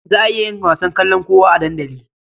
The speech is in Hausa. Za a iya yin wasan kalankuwa a dandali.